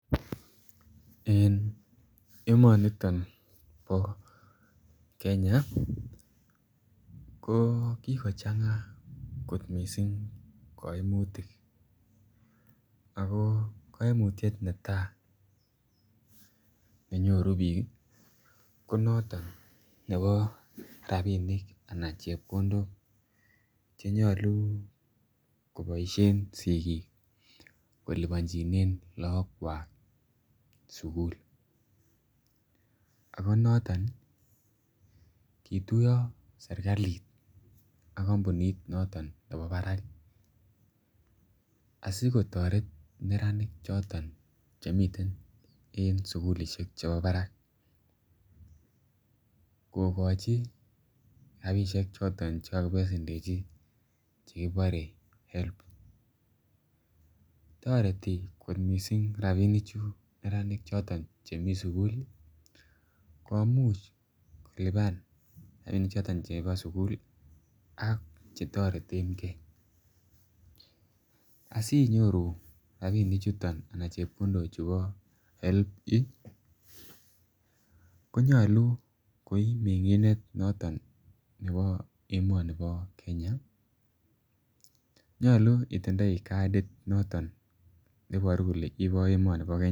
En emoni bo Kenya ko kikochanga kot mising kaimutik ako kaimutyet netai ne nyoru bik ko noton nebo rabinik anan chepkondok Che nyolu Che nyolu koboisien sigik kolipanjinen lagokwak sukul ago noton kituiyo serkalit ak kompunit noton nebo barak asi kotoret neranik choton Che miten en sukulisiek chebo barak kogochi rabisiek choton Che kakibesendechi Che kibore HELB Loan toreti kot mising rabinichu neranik Che mi sukul komuch kolipan rabinik choton Chebo sukul ak Che toretengei asi nyoru chepkondok choton chebo HELB konyolu koi mengindet nebo emoni bo Kenya nyolu itindoi kadit noton ne Iboru kole ibo emoni bo Kenya